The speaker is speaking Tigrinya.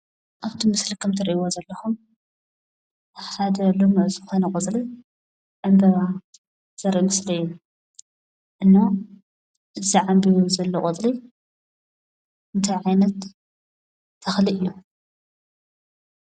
ኣብቲ ምስሊ ከም እትሪእዎ ዘለኩም ሓደ ልሙዕ ዝኾነ ቆፅሊ ዕንበባ ዘርኢ ምስሊ እዩ፡፡ እና እዚ ዓንቢቡ ዘሎ ቆፅሊ እንታይ ዓይነት ተክሊ እዩ?